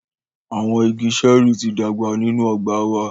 Awọn ìgi ṣẹẹri ti dàgbà ninu ọgba wà